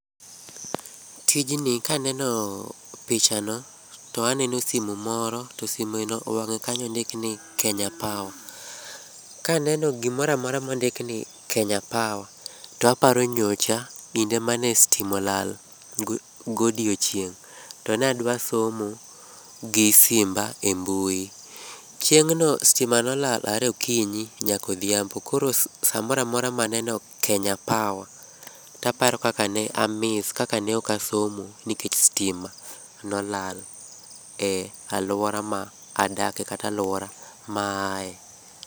Tijni kaneno pichano, to aneno simu moro. To simeno wang'e kanyo ondikni Kenya Power. Kaneno gimoramora mondikni Kenya Power, toaparo nyocha kinde mane stima olal godiochieng' to nadwa somo gi simba e mbui. Chieng'no stima nolal are okinyi nyakodhiambo. Koro samoramora maneno Kenya Power, taparo kakane a miss, kaka ne ok asomo nikech stima nolal e alwora ma adake kata alwora maaye.